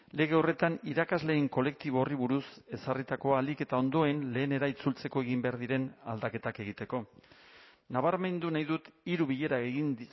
lege horretan irakasleen kolektibo horri buruz ezarritakoa ahalik eta ondoen lehenera itzultzeko egin behar diren aldaketak egiteko nabarmendu nahi dut hiru bilera egin